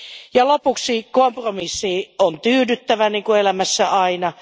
Ja lopuksi kompromissiin on tyydyttävä niin kuin elämässä aina.